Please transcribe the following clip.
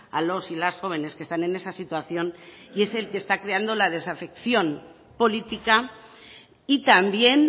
a los y las jóvenes que están en esa situación y es el que está creando la desafección política y también